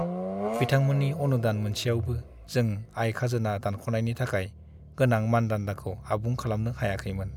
बिथांमोननि अनुदान मोनसेयावबो, जों आय-खाजोना दानख'नायनि थाखाय गोनां मानदान्दाखौ आबुं खालामनो हायाखैमोन।